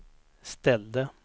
ställde